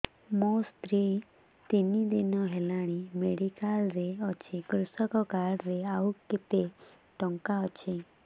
ମୋ ସ୍ତ୍ରୀ ତିନି ଦିନ ହେଲାଣି ମେଡିକାଲ ରେ ଅଛି କୃଷକ କାର୍ଡ ରେ ଆଉ କେତେ ଟଙ୍କା ଅଛି